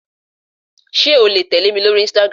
Sé o le tèlémi lórí "Instagram"